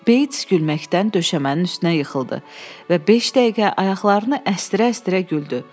Beyts gülməkdən döşəmənin üstünə yıxıldı və beş dəqiqə ayaqlarını əstirə-əstirə güldü.